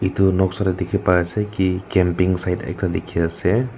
etu noksa te dekhi pai ase ki camping side ekta dekhi ase.